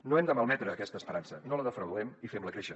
no hem de malmetre aquesta esperança no la defraudem i fem la créixer